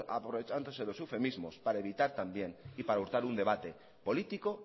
aprovechándose de los eufemismos para evitar también y para hurtar un debate político